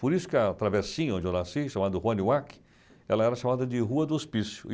Por isso que a travessinha onde eu nasci, chamada Rua Niuaque, ela era chamada de Rua do Hospício.